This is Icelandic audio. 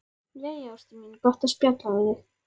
Jæja, ástin mín, gott að spjalla við þig.